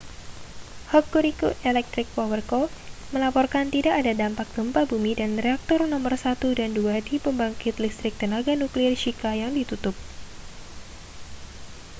hokuriku electric power co melaporkan tidak ada dampak gempa bumi dan reaktor nomor 1 dan 2 di pembangkit listrik tenaga nuklir shika yang ditutup